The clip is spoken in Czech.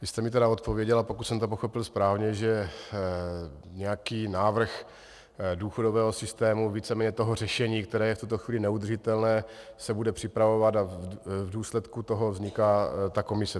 Vy jste mi tedy odpověděla, pokud jsem to pochopil správně, že nějaký návrh důchodového systému, víceméně toho řešení, které je v tuto chvíli neudržitelné, se bude připravovat a v důsledku toho vzniká ta komise.